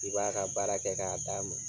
I b'a ka baara kɛ k'a d'a ma.